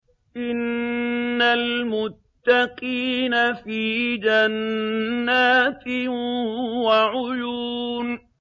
إِنَّ الْمُتَّقِينَ فِي جَنَّاتٍ وَعُيُونٍ